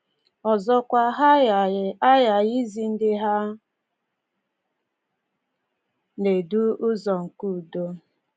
Ọzọkwa, ha aghaghị aghaghị izi ndị ha na-edu ụzọ nke udo.